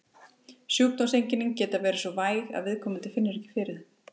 Sjúkdómseinkennin geta verið svo væg að viðkomandi finnur ekki fyrir þeim.